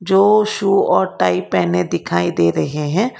दो शु और टाइ पहने दिखाई दे रहे है।